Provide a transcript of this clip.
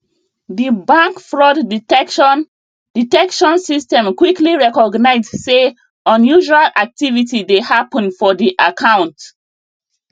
di bank fraud detection detection system quickly recognise say unusual activity dey happen for di account